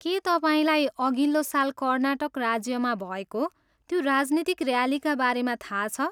के तपाईँलाई अघिल्लो साल कर्नाटक राज्यमा भएको त्यो राजनीतिक ऱ्यालीका बारेमा थाहा छ?